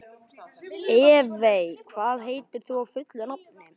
Evey, hvað heitir þú fullu nafni?